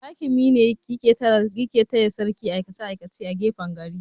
Hakimi ne yake taya sarki aikace-aikace a gefen gari.